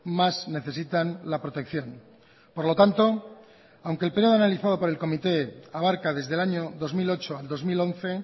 más necesitan la protección por lo tanto aunque el periodo analizado por el comité abarca desde el año dos mil ocho al dos mil once